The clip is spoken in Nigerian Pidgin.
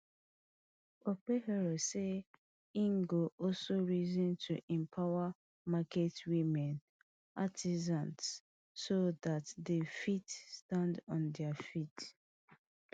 okpebholo say e go also reason to empower market women artisans so dat dem fit stand on dia feet